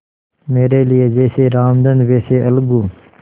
मेरे लिए जैसे रामधन वैसे अलगू